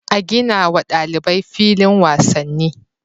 A ginawa ɗalibai filin wasanni